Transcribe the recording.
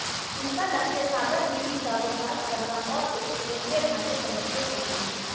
उनका लक्ष्य सागर विवि का विकास करना और उसके केंद्रीय ढांचे को मजबूत करना है